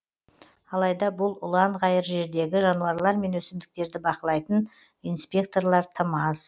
алайда бұл ұланғайыр жердегі жануарлар мен өсімдіктерді бақылайтын инспекторлар тым аз